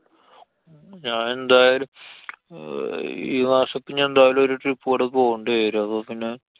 ഞാന്‍ എന്തായാലും. അഹ് ഈ മാസം പ്പൊ ഞാന്‍ എന്തായാലും ഒരു trip കൂടെ പോവേണ്ടി വരും. അപ്പൊ പിന്നെ